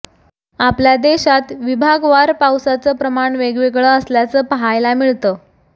आपल्या देशात विभागवार पावसाचं प्रमाण वेगवेगळं असल्याचं पाहायला मिळतं